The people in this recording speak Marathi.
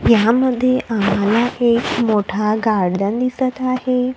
यामध्ये आम्हाला एक मोठा गार्डन दिसत आहे.